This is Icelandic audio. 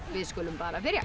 við skulum bara byrja